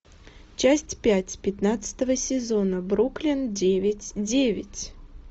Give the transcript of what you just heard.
часть пять пятнадцатого сезона бруклин девять девять